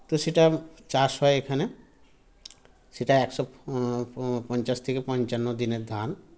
তো সেটা চাষ হয় এখানে সেটা একশো প প পঞ্চান্ন দিনের ধান